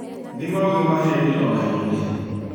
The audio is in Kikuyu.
Thima ũgima hĩndĩ o hĩndĩ